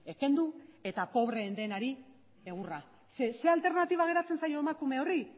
kendu eta pobreen denari egurra ze alternatiba geratzen zaio emakume horri